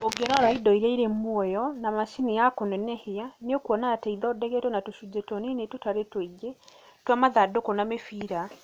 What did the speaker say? Ũngĩĩrora indo iria irĩ muoyo na macini ya kũnenehia , nĩ ũkuona atĩ ithondeketwo na tũcunjĩ tũnini tũtarĩ tũingĩ twa mathandũkũ na mĩbĩra.